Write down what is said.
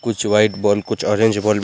कुछ white ball कुछ orange ball बो --